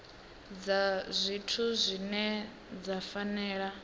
dza zwithu dzine dza fanela